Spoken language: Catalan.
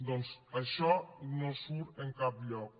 doncs això no surt en cap lloc